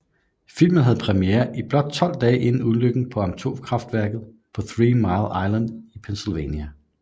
Filmen havde premiere blot 12 dage inden ulykken på atomkraftværket på Three Mile Island i Pennsylvania